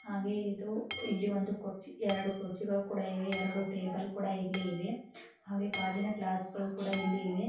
ಹಾಗೆ ಇದು ಇಲ್ಲಿ ಒಂದು ಕುರ್ಚಿ ಎರಡು ಕುರ್ಚಿಗಳು ಕೂಡ ಇಲ್ಲಿ ಇವೆ. ಹಾಗೆ ಗಾಜಿನ ಗ್ಲಾಸ್ ಕೂಡ ಇಲ್ಲಿ ಇವೆ .